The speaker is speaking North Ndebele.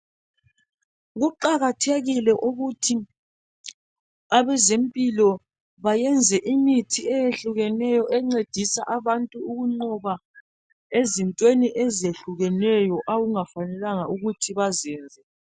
Kuqakathekile ukuthi abezempilo bayenze imithi eyehlukeneyo encedisa abantu ukunqoba ezintweni ezehlukeneyo okungafanelanga ukuthi bazenze.